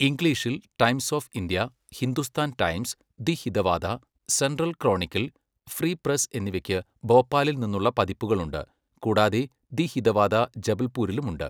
ഇംഗ്ലീഷിൽ, Times of India, Hindustan Times, the Hitavada, Central Chronicle, Free Press എന്നിവയ്ക്ക് ഭോപ്പാലിൽ നിന്നുള്ള പതിപ്പുകൾ ഉണ്ട്, കൂടാതെ ദി ഹിതവാദ ജബൽപൂരിലും ഉണ്ട്.